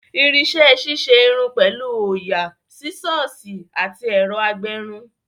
Irinṣẹ́ ṣíṣe irun pẹ̀lú òyà, Sísọ̀sì àti ẹ̀rọ agbẹrun